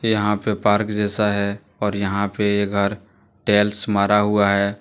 यहां पे पार्क जैसा है और यहां पे ये घर टैल्स मारा हुआ है।